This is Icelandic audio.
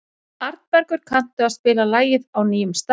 Arnbergur, kanntu að spila lagið „Á nýjum stað“?